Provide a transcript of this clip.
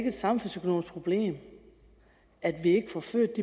et samfundsøkonomisk problem at vi ikke får født